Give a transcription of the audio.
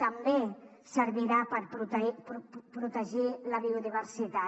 també servirà per protegir la biodiversitat